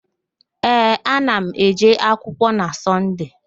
Ee, ana m eje akwụkwọ na Sọnde